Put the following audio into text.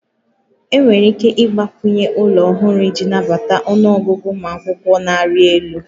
Enwere ike ịgbakwunye ụlọ ọhụrụ iji nabata ọnụ ọgụgụ ụmụ akwụkwọ na-arị elu